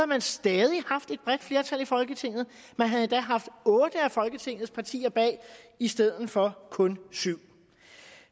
man stadig haft et bredt flertal i folketinget man havde endda haft otte af folketingets partier bag i stedet for kun syv